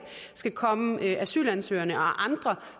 skal kunne komme asylansøgerne og andre